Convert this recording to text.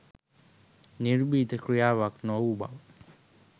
නිර්භීත ක්‍රියාවක් නොවූ බව